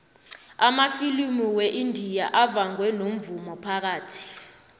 amafilimu weindia avangwe nomvumo phakathi